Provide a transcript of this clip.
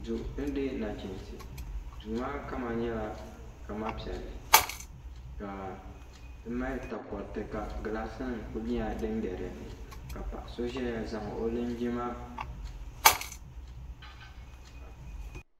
Duu din dihi nachinsi duu maa kama nyɛla zaɣa piɛlli ka di mali takoriti ka gilaasi nima kuli nyɛla din be dinni ka paɣa so zaya zaŋ o Linjima.